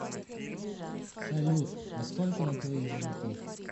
салют а сколько на твоих золотых